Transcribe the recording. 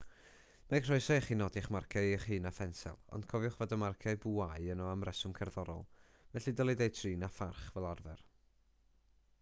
mae croeso i chi nodi'ch marciau eich hun â phensel ond cofiwch fod y marciau bwâu yno am reswm cerddorol felly dylid eu trin â pharch fel arfer